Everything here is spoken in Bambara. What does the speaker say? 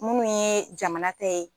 Munnu yee jamana ta ye